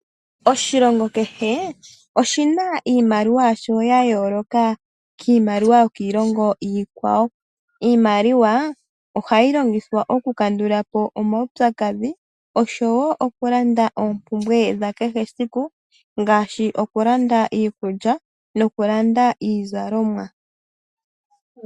Oshilongo kehe oshina iimaliwa yayooloka kiimaliwa yokiilongo iikwawo. Iimaliwa ohayi longithwa okukandulapo omawupyakadhi osho wo okulanda oompumbwe dha kehe esiku ngaashi, okulanda iikulya nokulanda iizalomwa.